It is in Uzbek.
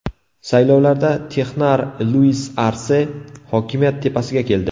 Saylovlarda texnar Luis Arse hokimiyat tepasiga keldi.